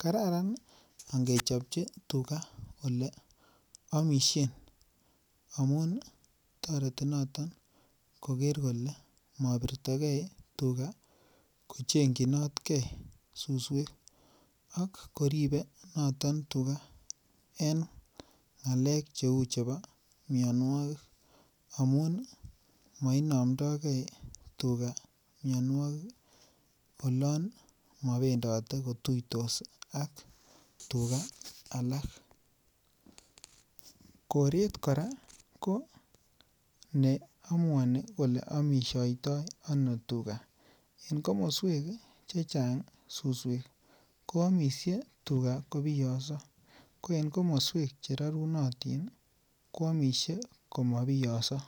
kararan angechobchi tuga aleamisien amuun toreti noton koker kole mabirtige , kochengchinot ge suswek ak koeibe akoirbe noton tuga en ng'alek cheuu chebo mianogig amuun ih mainamndoke tuga mianuakig ih olan mabendote kotuitos ak tuga alak . Koreet kora ko ko neamuani kole amisiataa ano tuga. En komosuek chechang susuek koamisie tuga kobiyoso ko kakmasuek cherarynotin koamisie komabiyoso.